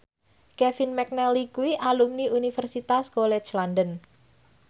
Kevin McNally kuwi alumni Universitas College London